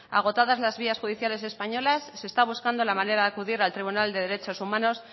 agotadas las vías judiciales españolas se está buscando la manera de acudir al tribunal de derechos humanos